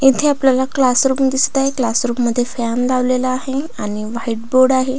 येथे आपल्याला क्लासरूम दिसत आहे क्लासरूम मध्ये फॅन लावलेला आहे आणि व्हाइट बोर्ड आहे.